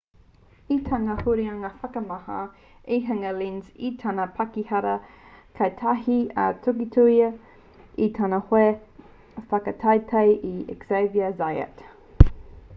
i tana huringa whakamahana i hinga a lenz i tana pahikara kātahi ka tukitukia e tana hoa whakataetae a xavier zayat